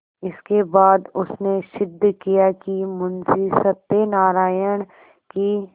इसके बाद उसने सिद्ध किया कि मुंशी सत्यनारायण की